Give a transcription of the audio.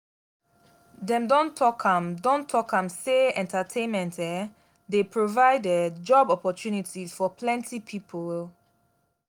dem don talk am don talk am sey entertainment um dey provide um job opportunities for plenty pipo um